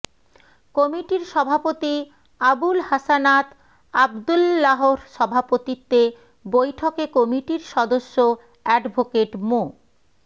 কমিটির সভাপতি আবুল হাসানাত আবদুল্লাহর সভাপতিত্বে বৈঠকে কমিটির সদস্য অ্যাডভোকেট মো